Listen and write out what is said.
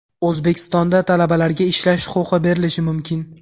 O‘zbekistonda talabalarga ishlash huquqi berilishi mumkin.